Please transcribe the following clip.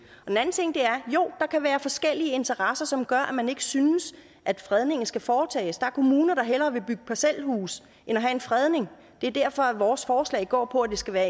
er kan være forskellige interesser som gør at man ikke synes at fredningen skal foretages der er kommuner der hellere vil bygge parcelhuse end at have en fredning det er derfor vores forslag går på at det skal være